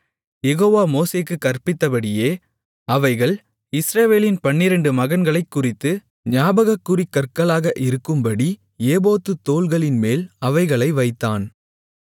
யெகோவா மோசேக்குக் கற்பித்தபடியே அவைகள் இஸ்ரவேலின் பன்னிரண்டு மகன்களைக் குறித்து ஞாபகக்குறிக் கற்களாக இருக்கும்படி ஏபோத்துத் தோள்களின்மேல் அவைகளை வைத்தான்